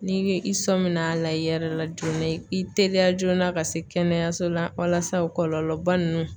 Ni i sɔnmin'a la i yɛrɛ la joona, i teliya joona ka se kɛnɛyaso la walasa kɔlɔlɔba ninnu